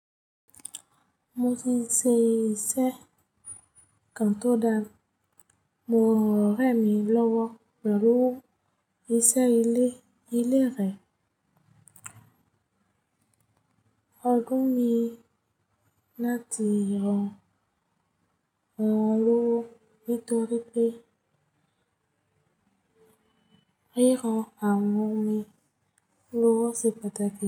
Mo ṣíṣe iṣẹ́ kan to da. Mo ràn Ore mi lọ́wọ́ pẹ̀lú ìṣe ilé ìlérè. Ọdún mi ni láti ràn án lọ́wọ́ nítorí pé ríra awọn mi lọ́wọ́ ṣe pàtàkì.